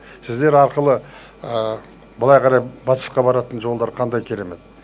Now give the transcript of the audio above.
сіздер арқылы былай қарай батысқа баратын жолдар қандай керемет